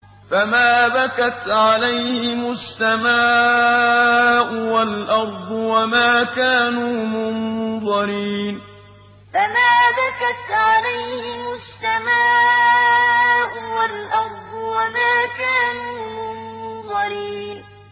فَمَا بَكَتْ عَلَيْهِمُ السَّمَاءُ وَالْأَرْضُ وَمَا كَانُوا مُنظَرِينَ فَمَا بَكَتْ عَلَيْهِمُ السَّمَاءُ وَالْأَرْضُ وَمَا كَانُوا مُنظَرِينَ